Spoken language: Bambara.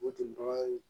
O de b'a ye